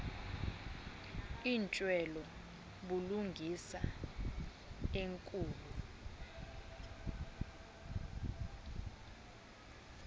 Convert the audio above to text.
intswelo bulungisa enkulu